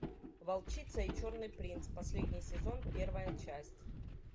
волчица и черный принц последний сезон первая часть